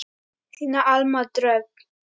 Þín Alma Dröfn.